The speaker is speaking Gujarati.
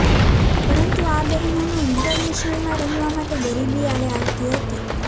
પરંતુ આ બહેનોનો ઈન્ટરનેશનલમાં રમવા માટે ગરીબી આડે આવતી હતી